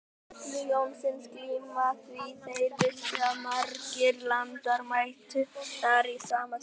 Stulla Jónsson glíma því þeir vissu að margir landar mættu þar í sama tilgangi.